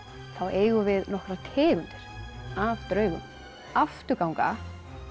eigum við nokkrar tegundir af draugum afturganga